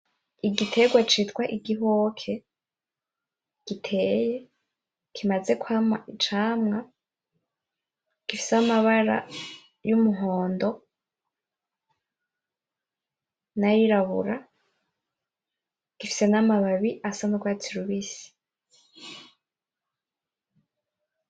Igiterwa citwa Igihoke giteye. Kimaze kwamwa Icamwa gifise amabara y’Umuhondo nayirabura gifise namababi asa n'urwatsi rubisi.